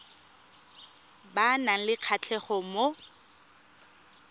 ba nang le kgatlhego mo